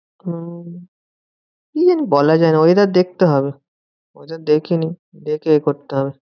Hello কি জানি বলা যায় না, weather দেখতে হবে। weather দেখিনি দেখে এ করতে হবে।